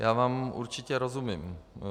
Já vám určitě rozumím.